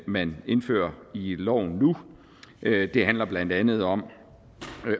man indfører i loven nu det handler blandt andet om